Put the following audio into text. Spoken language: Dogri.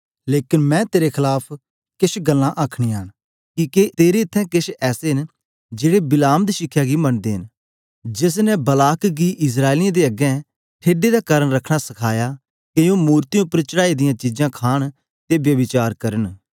लेकन मेरे तेरे खलाफ किश गल्लां आखनियां न किके तेरे इत्थैं किश ऐसे न जेड़े बिलाम दी शिखया गी मनदे न जेस ने बालाक गी इस्राएलियें दे अग्गें ठेडे दा कारन रखना सखाया के ओ मूर्तियें उपर चढ़ाई दियां चीजां खाण ते ब्यभिचार करन